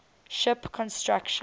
ship construction